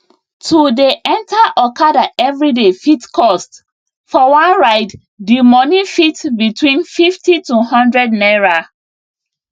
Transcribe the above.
to dey enter okada everyday fit cost for one ride dimoney fit between 50 to one hundred naira